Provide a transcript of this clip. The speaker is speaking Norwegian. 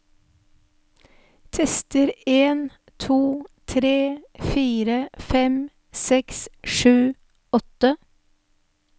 Tester en to tre fire fem seks sju åtte